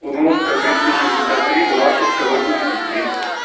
удмуртская двести шестьдесят три буммашевская восемьдесят три